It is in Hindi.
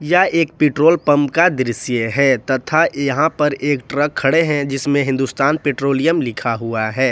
यह एक पेट्रोल पंप का दृश्य है तथा यहां पर एक ट्रक खड़े हैं जिसमें हिंदुस्तान पैट्रोलियम लिखा हुआ है।